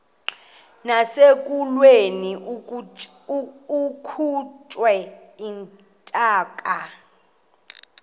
nasekulweni akhutshwe intaka